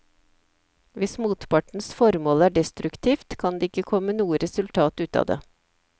Hvis motpartens formål er destruktivt, kan det ikke komme noe resultat ut av det.